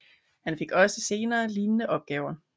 Han fik også senere lignende opgaver